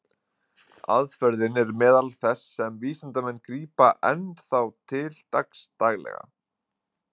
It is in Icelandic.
Aðferðin er meðal þess sem vísindamenn grípa enn þá til dagsdaglega.